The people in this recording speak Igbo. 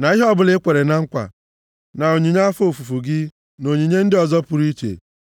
na ihe ọbụla i kwere na nkwa, na onyinye afọ ofufu gị, na onyinye ndị ọzọ pụrụ iche.